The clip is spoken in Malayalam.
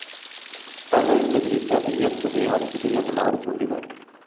തങ്ങളില്‍ നിന്ന് പിരിച്ച പി ഫ്‌ തുകയും അടച്ചിട്ടില്ലെന്നും അവര്‍ ചൂണ്ടിക്കാട്ടി